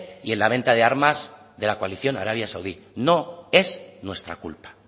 y en la venta de armas de la coalición arabia saudí no es nuestra culpa